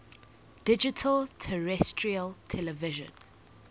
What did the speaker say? digital terrestrial television